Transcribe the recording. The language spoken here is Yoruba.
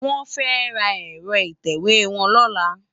Wòn fè tá èrò itèwé wòn lòlá